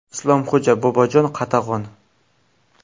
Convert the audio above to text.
Islomxo‘ja va Bobojon Qatag‘on.